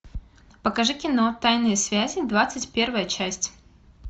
покажи кино тайные связи двадцать первая часть